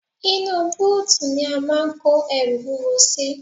Inú bóòtù ni a máà ń kó ẹrù wúwo sí.